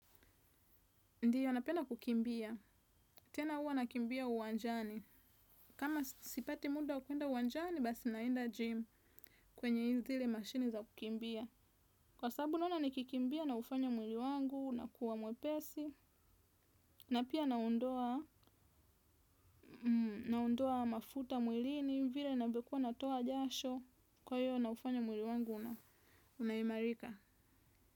Ndiyo napenda kukimbia. Tena uwa nakimbia uwanjani. Kama sipati muda wa kuenda uwanjani basi naenda gym kwenye zile machine za kukimbia. Kwa sabu naona nikikimbia naufanya mwili wangu unakuwa mwepesi, na pia naondoa mafuta mwilini vile navyokua natoa jasho. Kwa hiyo naufanya mwili wangu unaimarika.